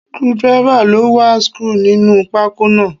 Screwdriver ló wa screw sínú pákó náà.